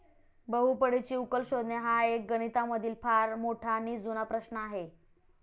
बहुपडीची उकल शोधणे हा एक गणितामधील फार मोठा नी जूना प्रश्न आहे.